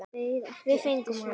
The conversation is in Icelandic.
Við fengum hana!